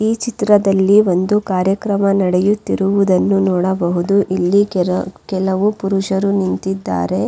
ಈ ಚಿತ್ರದಲ್ಲಿ ಒಂದು ಕಾರ್ಯಕ್ರಮ ನಡೆಯುತ್ತಿರುವುದನ್ನು ನೋಡಬಹುದು ಇಲ್ಲಿ ಕೆಲ ಕೆಲವು ಪುರುಷರು ನಿಂತಿದ್ದಾರೆ.